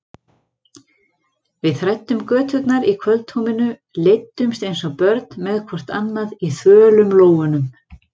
Við þræddum göturnar í kvöldhúmi, leiddumst eins og börn með hvort annað í þvölum lófunum.